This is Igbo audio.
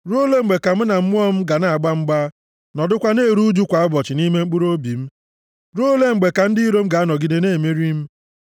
Ruo ole mgbe ka mụ na mmụọ m ga na-agba mgba nọdụkwa na-eru ụjụ kwa ụbọchị nʼime mkpụrụobi m? Ruo ole mgbe ka ndị iro m ga-anọgide na-emeri m?